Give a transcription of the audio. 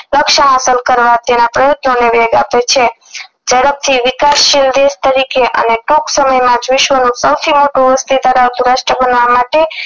રક્ષા કરવા તેના પ્રયત્નોને વેગ આપે છે જડપથી વિકાસ શીલ દેશ તરીકે અને ટુંક સમય માંજ વિશ્વનું સૌથી મોટું બનવા માટે